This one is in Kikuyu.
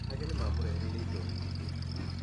Ageni mamũreheire indo nyingĩ.